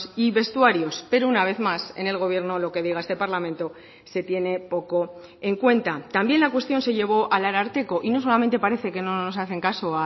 y vestuarios pero una vez más en el gobierno lo que diga este parlamento se tiene poco en cuenta también la cuestión se llevó al ararteko y no solamente parece que no nos hacen caso